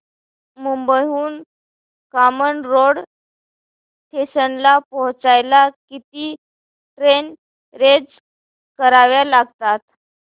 मुंबई हून कामन रोड स्टेशनला पोहचायला किती ट्रेन चेंज कराव्या लागतात